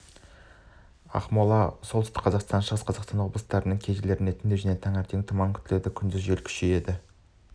ақмола солтүстік қазақстан шығыс қазақстан облыстарының кей жерлерінде түнде және таңертең тұман күтіледі күндіз жел күшейеді